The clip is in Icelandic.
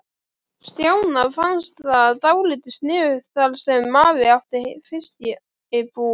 Stjána fannst það dálítið sniðugt þar sem afi átti fiskbúð.